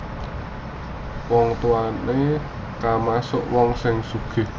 Wong tuwane kamasuk wong sing sugih